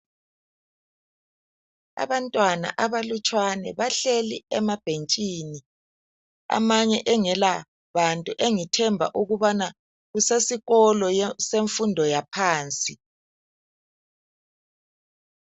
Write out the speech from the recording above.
Abantwana abahlutshwane bahleli emabhentshini, amanye engelabantu engithemba ukubana kusesikolo semfundo yaphansi.